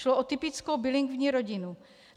Šlo o typickou bilingvní rodinu.